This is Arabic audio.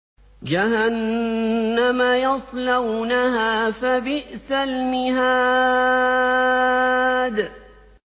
جَهَنَّمَ يَصْلَوْنَهَا فَبِئْسَ الْمِهَادُ